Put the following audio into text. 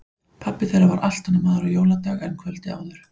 Pabbi þeirra var allt annar maður á jóladag en kvöldið áður.